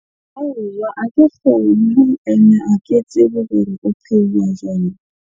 Aowa ha ke kgone ene ha ke tsebe hore o pheuwa jwang?